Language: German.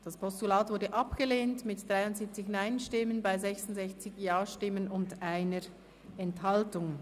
Sie haben die Motion als Postulat abgelehnt mit 73 Nein- zu 66 Ja-Stimmen bei 1 Enthaltung.